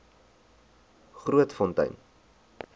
grootfontein